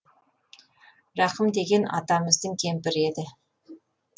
рақым деген атамыздың кемпірі еді